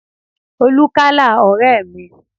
Olú kálá ọ̀rẹ́ mi